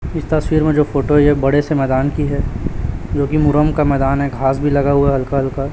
इस तस्वीर में जो फोटो है यह बड़े से मैदान की है जोकि मुरम का मैदान है घास भी लगा हुआ हल्का -हल्का --